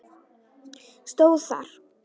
stóð þar.